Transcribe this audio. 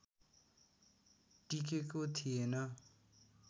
टिकेको थिएन